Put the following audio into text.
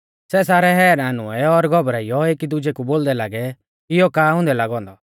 सै सारै हैरान हुऐ और घबराइयौ एकी दुजै कु बोलदै लागै इयौ का हुंदै लागौ औन्दौ